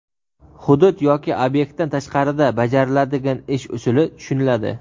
hudud yoki obyektdan tashqarida bajariladigan ish usuli tushuniladi.